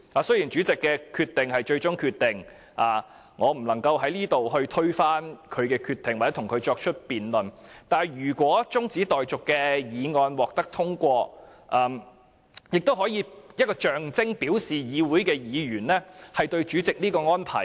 雖然主席的決定是最終的，我在此不能推翻他的決定或與他辯論，但如果中止待續議案獲得通過，亦可以象徵及表示議員不滿主席的安排。